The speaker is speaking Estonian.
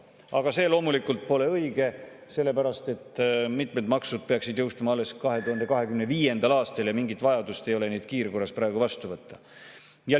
Aga see loomulikult pole õige, sellepärast et mitmed maksud peaksid jõustuma alles 2025. aastal ja mingit vajadust neid kiirkorras praegu vastu võtta ei ole.